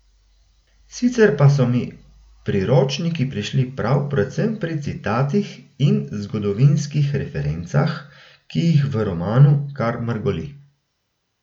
Sicer pa so mi priročniki prišli prav predvsem pri citatih in zgodovinskih referencah, ki jih v romanu kar mrgoli.